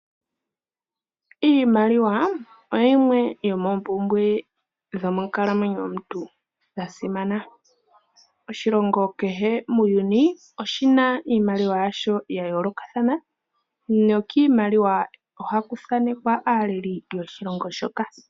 Iimaliwa oyo yimwe yo moompumbwe dhomonkalamwenyo yomuntu ya simana. Oshilongo kehe muuyuni oshina iimaliwa ya sho ya yoolokathana nokiimaliwa ohaku thaanekwa aaleli yoshilongo shoka.